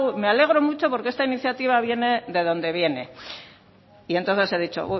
me alegro mucho porque esta iniciativa viene de donde viene y entonces he dicho